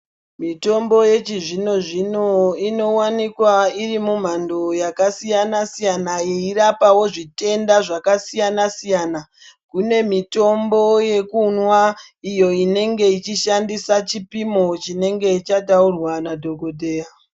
Mitombo yechizvinozvino inovanikwa iri mumhando yakasiyana-siyana, ichirapavo zvitenda zvakasiyana-siyana. Kune mitombo yekunwa iyo inenge ichishandisa chipimo chinenge chataurwa nadhogodheya.